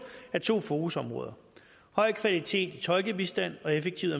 af to fokusområder høj kvalitet af tolkebistand og effektiv